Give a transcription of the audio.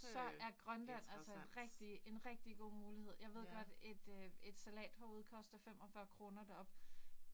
Så er Grønland altså en rigtig en rigtig god mulighed, jeg ved godt et øh et salathoved koster 45 kroner deroppe